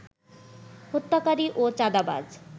হত্যাকারী ও চাঁদাবাজ